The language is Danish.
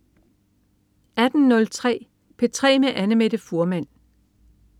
18.03 P3 med Annamette Fuhrmann